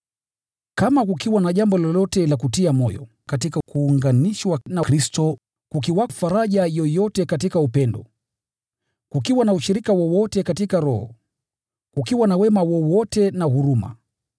Kama kukiwa na jambo lolote la kutia moyo katika kuunganishwa na Kristo, kukiwa faraja yoyote katika upendo wake, kukiwa na ushirika wowote na Roho, kukiwa na wema wowote na huruma,